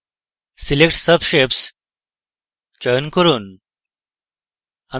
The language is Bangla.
select subshapes check করুন